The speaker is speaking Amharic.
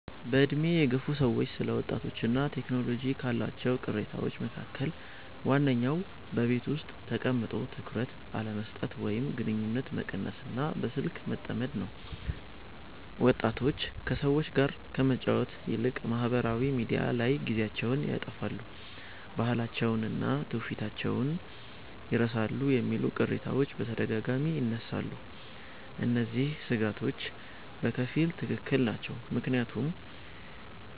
በዕድሜ የገፉ ሰዎች ስለ ወጣቶችና ቴክኖሎጂ ካሏቸው ቅሬታዎች መካከል ዋነኛው በቤት ውስጥ ተቀምጦ ትኩረት አለመስጠት ወይም ግንኙነት መቀነስና በስልክ መጠመድ ነው። ወጣቶች ከሰዎች ጋር ከመጫወት ይልቅ ማኅበራዊ ሚዲያ ላይ ጊዜያቸውን ያጠፋሉ፣ ባህላቸውንና ትውፊታቸውን ይረሳሉ የሚሉ ቅሬታዎች በተደጋጋሚ ይነሳሉ። እነዚህ ሥጋቶች በከፊል ትክክል ናቸው፤ ምክንያቱም